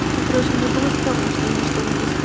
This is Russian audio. ну короче мне было стремно что они что-нибудь